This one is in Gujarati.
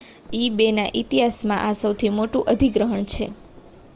ebayના ઇતિહાસમાં આ સૌથી મોટું અધિગ્રહણ છે